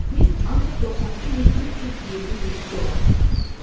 Biz ancaq 92 min 327 dollar qazandıq.